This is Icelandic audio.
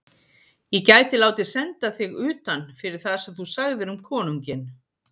Ég gæti látið senda þig utan fyrir það sem þú sagðir um konunginn.